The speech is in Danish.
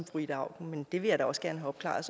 fru ida auken men det vil jeg da også gerne have opklaret